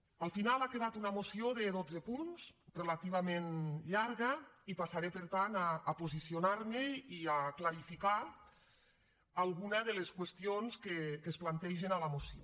al final ha quedat una moció de dotze punts relativament llarga i passaré per tant a posicionar me i a clarificar alguna de les qüestions que es plantegen a la moció